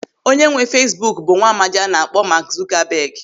Onye nwe Feesbuk bụ nwaamdi a na-akpọ Maak Zukabeg.